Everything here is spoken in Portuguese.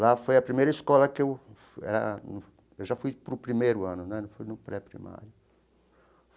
Lá foi a primeira escola que eu eh... Eu já fui para o primeiro ano né, não fui no pré-primário.